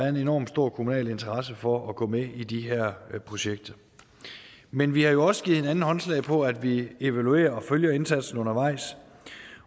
en enormt stor kommunal interesse for at gå med i de her projekter men vi har jo også givet hinanden håndslag på at vi evaluerer og følger indsatsen undervejs